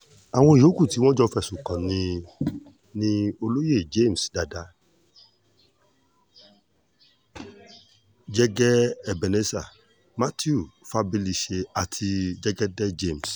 àwọn yòókù tí wọ́n jọ fẹ̀sùn kàn ní ni olóye james dada jẹ́gẹ́ ebenezer mathew fabalise àti jẹ́gẹ́dẹ́ james